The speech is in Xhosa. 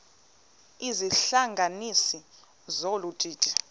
izihlanganisi zolu didi